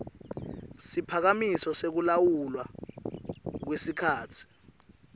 siphakamiso sekulawulwa kwesikhatsi